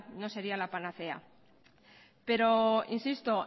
no sería la panacea pero insisto